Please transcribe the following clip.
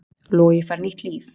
Logi fær nýtt líf